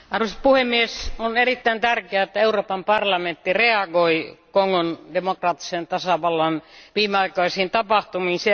Arvoisa puhemies, on erittäin tärkeää, että Euroopan parlamentti reagoi Kongon demokraattisen tasavallan viimeaikaisiin tapahtumiin.